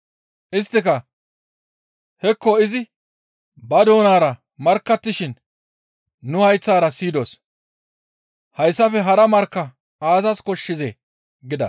Isttika, «Hekko izi ba doonara markkattishin nu hayththara siyidos; hayssafe hara markka aazas koshshizee?» gida.